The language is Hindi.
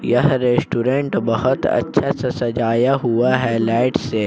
यह रेस्टोरेंट बहुत अच्छा से सजाया हुआ है लाइट से।